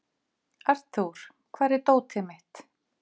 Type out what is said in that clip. Arthur, hvar er dótið mitt?